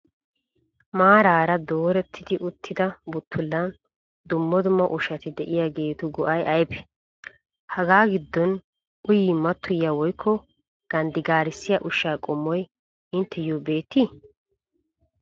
Maaraara dooretti uttida buttullan dumma dumma ushshati diyageetu go'ay ayibe? Hagaa giddon uyin mattoyiyaa woyikko ganddigaarissiya ushsha qommoy intteyyoo beettii?